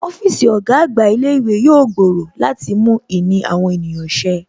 Ọ́fíìsì ọ̀gá àgbà ilé ìwé yóò gbòòrò láti mú ìní àwọn ènìyàn ṣe